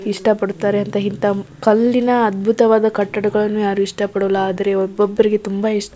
ಇಷ್ಟ ಪಡುತ್ತಾರೆ ಇಂತಹ ಕಲ್ಲಿನ ಅದ್ಬುತವಾದ ಕಟ್ಟಗಳು ಯಾರು ಇಷ್ಟಪಡಲಾ ಆದ್ರೆ ಒಬ್ಬಬ್ಬರಿಗೆ ತುಂಬ ಇಷ್ಟ --